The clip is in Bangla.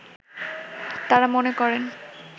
তাঁরা মনে করেন